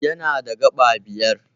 Yana da gaɓa biyar.